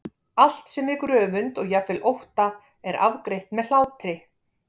Allt sem vekur öfund og jafnvel ótta er afgreitt með hlátri.